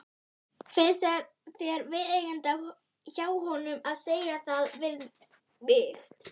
Finnst þér viðeigandi hjá honum að segja það við mig?